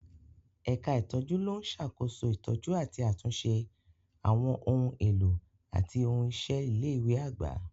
Ẹ̀ka ìtọ́jú ló ń ṣàkóso ìtọ́jú àti àtúnṣe àwọn ohun èlò àti ohun iṣẹ́ ilé ìwé àgbà.